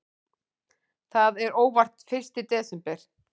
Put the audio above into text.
Það er óvart fyrsti desember.